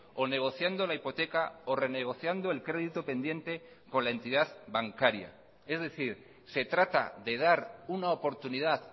o negociando la hipoteca o renegociando el crédito pendiente con la entidad bancaria es decir se trata de dar una oportunidad